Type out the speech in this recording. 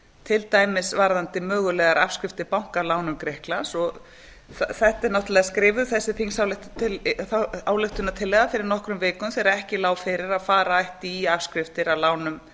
til dæmis varðandi mögulegar afskriftir banka af lánum til grikklands og þessi þingsályktunartillaga er náttúrlega skrifuð fyrir nokkrum vikum þegar ekki lá fyrir að fara ætti í afskriftir af lánum